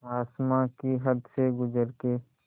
आसमां की हद से गुज़र के